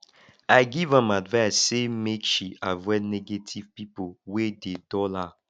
i give am advice sey make she avoid negative pipo wey dey dull her